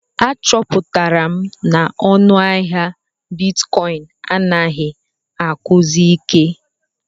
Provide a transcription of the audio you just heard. Achọpụtara m na ọnụ ahịa Bitikoin anaghị akwụsi ike.